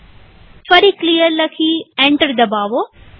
ફરી ક્લિયર લખી એન્ટર દબાવો